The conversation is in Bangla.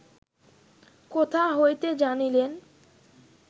কোথা হইতে জানিলেন